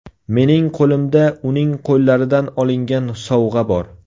Mening qo‘limda uning qo‘llaridan olingan sovg‘a bor.